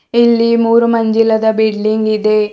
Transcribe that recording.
ಇಲ್ಲಿ ಮೂರು ಮಂಜಿಲದ ಬಿಲ್ಡಿಂಗ್ ಇದೆ.